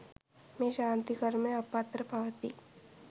මේ ශාන්ති කර්මය අප අතර පවතී.